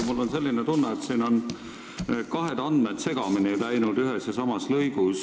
Mul on selline tunne, et siin on ühes lõigus kahed andmed segamini läinud.